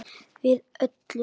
Við öllu.